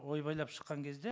ойбайлап шыққан кезде